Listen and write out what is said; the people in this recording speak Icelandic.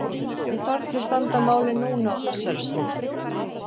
En hvernig standa málin núna á þessari stundu?